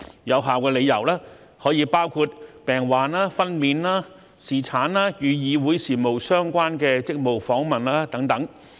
有效理由可包括病患、分娩、侍產、與議會事務相關的職務訪問等。